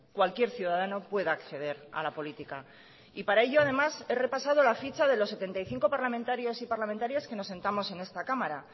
cualquier ciudadano pueda acceder a la política y para ello además he repasado la ficha de los setenta y cinco parlamentarios y parlamentarias que nos sentamos en esta cámara